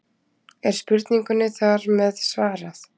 Er spurningunni þar með svarað?